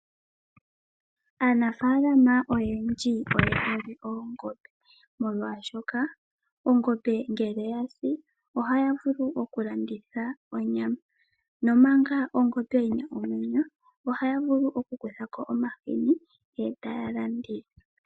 Aanafaalama oyendji oyena oongobe molwaashoka ongombe ngele yasi ohaya vulu okulanditha onyama, nongele ongombe yina omwenyo ohaya vulu okukanda omahini etaya landitha.